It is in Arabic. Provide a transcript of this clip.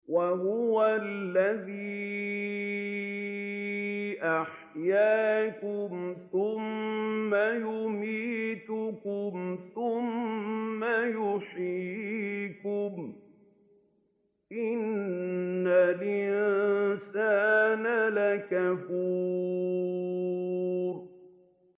وَهُوَ الَّذِي أَحْيَاكُمْ ثُمَّ يُمِيتُكُمْ ثُمَّ يُحْيِيكُمْ ۗ إِنَّ الْإِنسَانَ لَكَفُورٌ